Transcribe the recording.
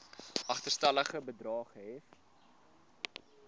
agterstallige bedrae gehef